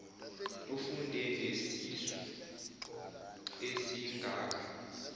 ufunde nesisu esingaka